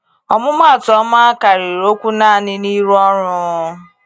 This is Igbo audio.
ọmụmụ atụ ọma karịrị okwu naanị n’ịrụ ọrụ.